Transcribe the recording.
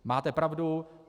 Máte pravdu.